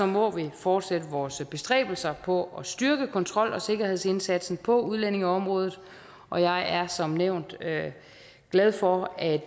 må vi fortsætte vores bestræbelser på at styrke kontrol og sikkerhedsindsatsen på udlændingeområdet og jeg er som nævnt glad for at